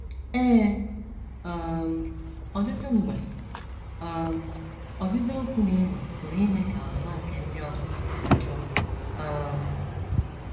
Ee, um ọtụtụ mgbe, um “ ọzịza okwu dị nro ” pụrụ ime ka ọnụma nke ndị ọzọ dajụọ um.